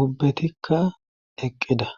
ubbetikka eqqida